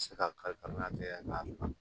Se ka kalifa